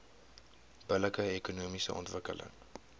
billike ekonomiese ontwikkeling